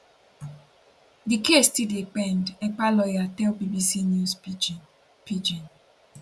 di case still dey pend ekpa lawyer tell bbc news pidgin pidgin